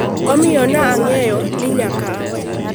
Omiyo, ne ang’eyo ni nyaka aweye.”